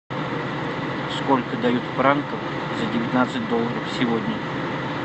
сколько дают франков за девятнадцать долларов сегодня